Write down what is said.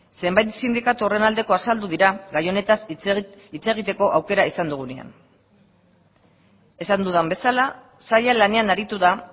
zenbait sindikatu horren aldeko azaldu dira gai honetaz hitz egiteko aukera izan dugunean esan dudan bezala saila lanean aritu da